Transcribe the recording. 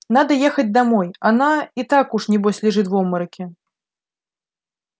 надо ехать домой она и так уж небось лежит в обмороке